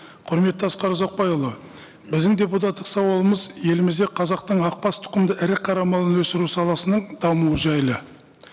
құрметті асқар ұзақбайұлы біздің депутаттық сауалымыз елімізде қазақтың ақбас тұқымды ірі қара малын өсіру саласының дамуы жайлы